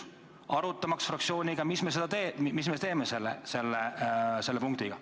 Tahtsime fraktsiooniga arutada, mis me teeme selle punktiga.